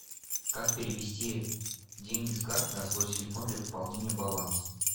как перевести деньги с карты на свой телефон для пополнения баланса